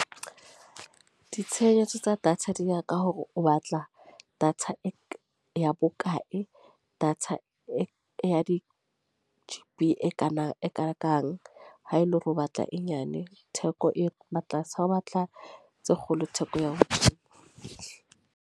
Ditshebeletso tsa data di ya ka hore o batla, data e ya bokae. Data e ya di-G_B e kanang e kakang. Ha ele hore o batla e nyane, theko e ba tlase. Ha o batla tse kgolo theko ya ho fihla.